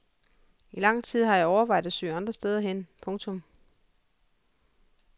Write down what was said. I lang tid har jeg overvejet at søge andre steder hen. punktum